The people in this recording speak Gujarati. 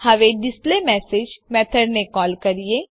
હવે ડિસ્પ્લેમેસેજ મેથડને કોલ કરીએ